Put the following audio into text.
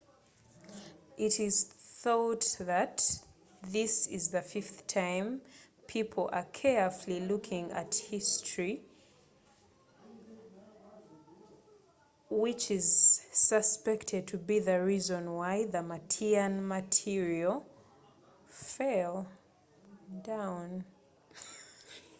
kilowezebwa nti guno mulundi gwa kutano ng'abantu betegelezza mu byafayo ekisubilwa ntikyekyavilako matiliyo ya martian okuggwa ku taka